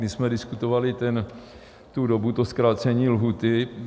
My jsme diskutovali tu dobu, to zkrácení lhůty.